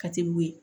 Ka teli o ye